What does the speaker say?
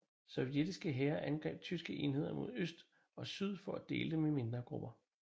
Sovjetiske hære angreb tyske enheder mod øst og syd for at dele dem i mindre grupper